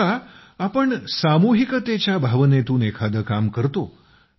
जेव्हा आम्ही सामूहिकतेच्या भावनेतून एखादं काम करतो